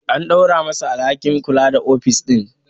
An dora ma sa alhakin kula da ofis din